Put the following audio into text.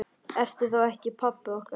Ertu þá ekki pabbi okkar?